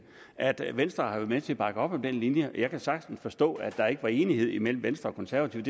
at venstre har været med til at bakke op om den linje jeg kan sagtens forstå at der ikke var enighed mellem venstre og konservative